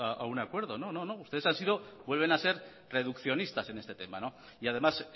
a un acuerdo no no ustedes vuelven a ser reduccionistas en este tema y además